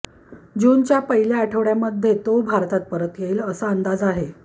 जूनच्या पहिल्या आठवड्यामध्ये तो भारतात परत येईल असा अंदाज आहे